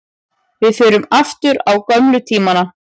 Við förum aftur á gömlu tímana.